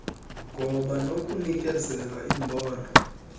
ngoba nokunikezela imbono